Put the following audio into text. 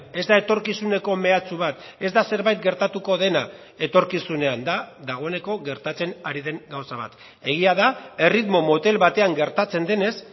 ez da etorkizuneko mehatxu bat ez da zerbait gertatuko dena etorkizunean da dagoeneko gertatzen ari den gauza bat egia da erritmo motel batean gertatzen denez